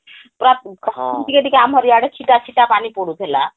ପୁରା ଟିକେ ଟିକେ ଆମର ଇଆଡ଼େ ଛିଟା ଛିଟା ପାନୀ ପଡୁଥିଲା ହଁ